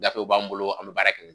Gafe b'anw bolo an bɛ baara kɛ